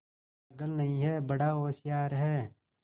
पागल नहीं हैं बड़ा होशियार है